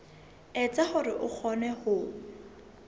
etsa hore o kgone ho